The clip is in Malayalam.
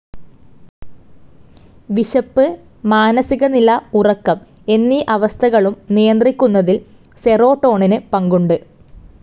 വിശപ്പ്, മാനസികനില, ഉറക്കം എന്നീ അവസ്ഥകളും നിയന്ത്രിക്കുന്നതിൽ സീറോട്ടോണിൻ പങ്കുണ്ട്.